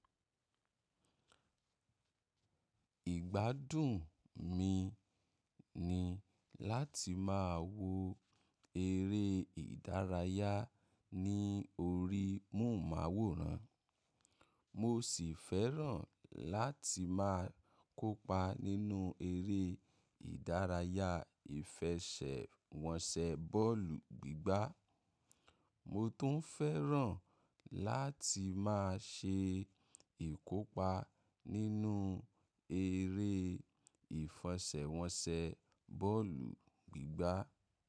Ìgbádùn mi ni láti máa wo eré ìdárayá ní orí móhùnmáwòrán, mo sì fẹ́ràn láti máa kópa nínú eré ìdárayá ìfẹsẹ̀wọnsẹ̀ bọ́ọ̀lù gbígbá. Mo tun fẹ́ràn lati maa se ikopa ninu ere ifẹsẹwọnsẹ bọọlu gbigba.